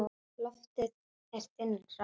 Loftið er þynnra.